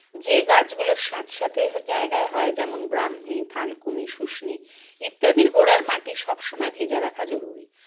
যে গাছগুলো স্যাঁতস্যাঁতে হ জায়গায় হয় যেমন ব্রাহ্মী থানকুনি শুষ্নী ইত্যাদির গোড়ার মাটি সবসময় ভেজা রাখা জরুরী